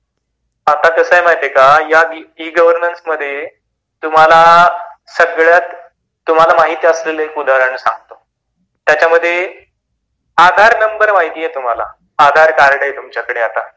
आता कस आहे माहीत आहे का, या ई -गवर्नन्स मध्ये तुम्हाला महित असलेले, एक उदाहरण सांगतो त्याच्या मधे आधार नंबर माहित आहे तुम्हाला, आधार कार्ड आहे तुमच्याकडे आता